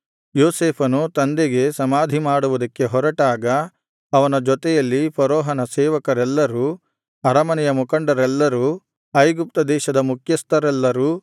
ಯೋಸೇಫನು ತಂದೆಗೆ ಸಮಾಧಿ ಮಾಡುವುದಕ್ಕೆ ಹೊರಟಾಗ ಅವನ ಜೊತೆಯಲ್ಲಿ ಫರೋಹನ ಸೇವಕರೆಲ್ಲರೂ ಅರಮನೆಯ ಮುಖಂಡರೆಲ್ಲರೂ ಐಗುಪ್ತ ದೇಶದ ಮುಖ್ಯಸ್ಥರೆಲ್ಲರೂ